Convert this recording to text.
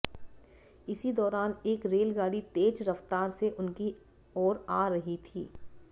इसी दौरान एक रेलगाड़ी तेज रफ्तार से उनकी आ रही थी